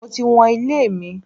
Mo ti wọn ilé mi.